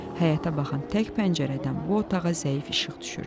Həyətə baxan tək pəncərədən bu otağa zəif işıq düşürdü.